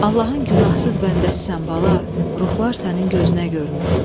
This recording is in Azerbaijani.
Allahın günahsız bəndəsisən bala, ruhlar sənin gözünə görünüb.